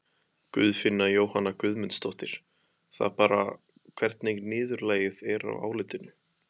Guðfinna Jóhanna Guðmundsdóttir: Það bara, hvernig niðurlagið er á álitinu?